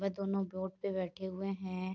वह दोनों बोट पे बैठे हुए हैं।